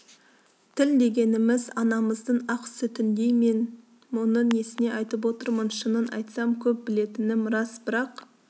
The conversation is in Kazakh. тіл дегеніміз анамыздың ақ сүтіндей мен мұны несіне айтып отырмын шынын айтсам көп білетінім рас бірақ